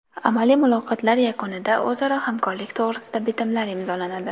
Amaliy muloqotlar yakunida o‘zaro hamkorlik to‘g‘risida bitimlar imzolanadi.